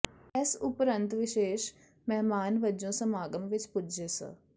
ਇਸ ਉਪਰੰਤ ਵਿਸ਼ੇਸ਼ ਮਹਿਮਾਨ ਵਜੋਂ ਸਮਾਗਮ ਵਿਚ ਪੁੱਜੇ ਸ